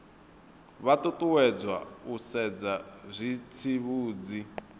vha ṱuṱuwedzwa u sedza zwitsivhudzi